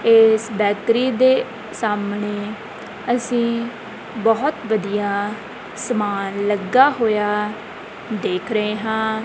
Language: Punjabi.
ਏਸ ਬੇਕਰੀ ਦੇ ਸਾਹਮਣੇ ਅਸੀਂ ਬਹੁਤ ਵਧੀਆ ਸਮਾਨ ਲੱਗਾ ਹੋਇਆ ਦੇਖ ਰਹੇ ਹਾਂ।